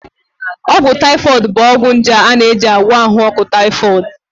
Ọgwụ taifọịd bụ ọgwụ nje a na-eji agwọ ahụ ọkụ taifọịd